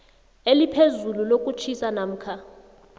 eliphezulu lokutjhisa namkha